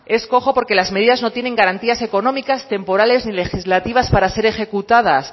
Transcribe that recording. es cojo porque las medidas no tienen garantías económicas temporales ni legislativa para ser ejecutadas